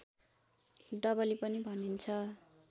डबली पनि भनिन्छ